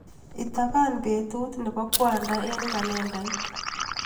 Itapan betut nebo kwanda eng kalendait.